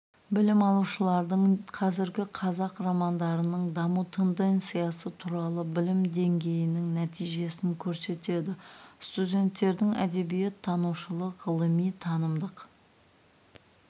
білім алушылардың қазіргі қазақ романдарының даму тенденциясы туралы білім деңгейінің нәтижесін көрсетеді студенттердің әдебиет танушылық ғылыми-танымдық